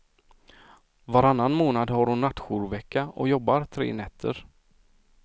Varannan månad har hon nattjourvecka och jobbar tre nätter.